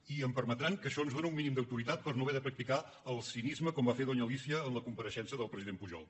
i em permetran que això ens dóna un mínim d’autoritat per no haver de practicar el cinisme com va fer doña alícia en la compareixença del president pujol